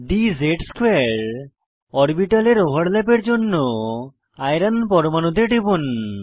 dz2 অরবিটালের ওভারল্যাপের জন্য আইরন পরমানুতে টিপুন